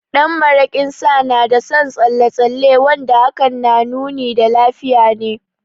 Ɗan maraƙin Sa na da son tsalle tsalle wanda hakan na nuni da lafiya ne.